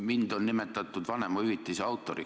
Mind on nimetatud vanemahüvitise autoriks.